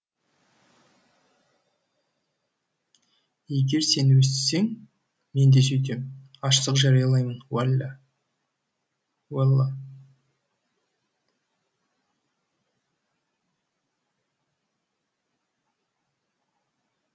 егер сен өстісең мен де сөйтем аштық жариялаймын уәллә уалла